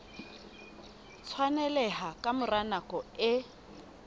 tshwaneleha ka mora nako e